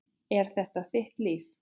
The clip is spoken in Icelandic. En þetta er þitt líf.